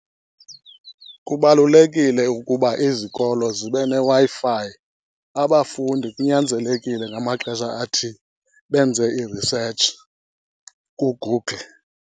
Kubalulekile ukuba izikolo zibe neWi-Fi. Abafundi kunyanzelekile ngamaxesha athile benze i-research kuGoogle.